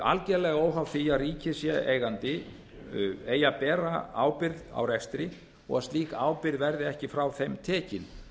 algerlega óháð því að ríkið sé eigandi eigi að bera ábyrgð á rekstri og slík ábyrgð verði ekki frá þeim ekki